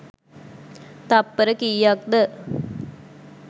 තප්පර කීයක්ද?